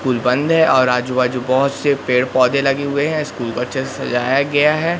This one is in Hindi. पुल बंद है और आजू बाजू बहोत से पेड़ पौधे लगे हुए हैं स्कूल को अच्छे से सजाया गया है।